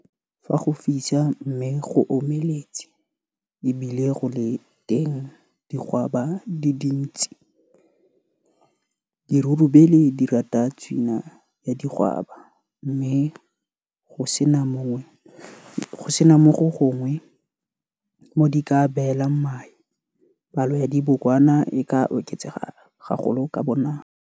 Fa go fisa mme go omeletse e bile go le teng digwaba di dintsi dirurubele di rata tswina ya digwaba mme go se na mo gongwe mo di ka beelang mae, palo ya dibokwana e ka oketsega gagolo ka bonako.